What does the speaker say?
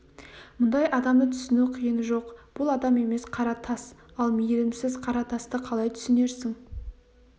мұндай адамды түсіну қиын жоқ бұл адам емес қара тас ал мейірімсіз қара тасты қалай түсінерсің